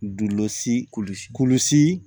Dulosi kulusi kulusi